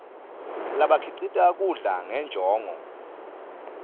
labakhicita kudla ngenjongo